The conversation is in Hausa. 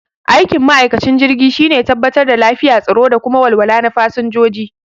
Aikin ma'aikacin jirgi shine tabbatar da lafiya, tsaro da kuma walwala na fasanjoji